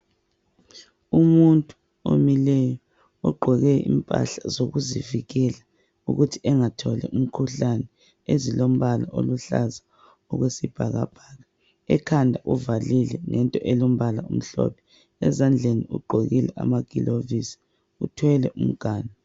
Umuntu omileyo ogqoke impahla zokuzivikela ukuthi engatholi umkhuhlane ezilombala oluhlaza okwesibhakabhaka. Ekhanda uvalile ngento elombala omhlophe. Ezandleni ugqokile amagilovisi, uthwele umganu.